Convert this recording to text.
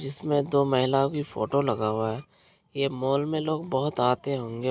जिसमे दो महिलाओ की फोटो लगा हुआ है। यह मोल में लोग बहुत आते होंगे।